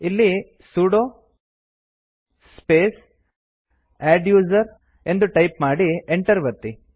ಇಲ್ಲಿ sudo space adduser ಎಂದು type ಮಾಡಿ Enter ಒತ್ತಿ